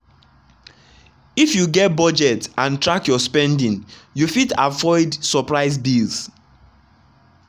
if you get budget and track your spending you fit avoid surprise bills.